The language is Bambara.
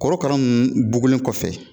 Korokara ninnu bugunlen kɔfɛ